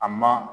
A ma